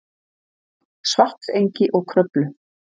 Svartsengi og Kröflu.